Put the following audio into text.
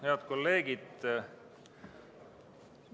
Head kolleegid!